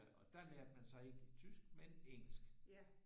Og der lærte man så ikke tysk men engelsk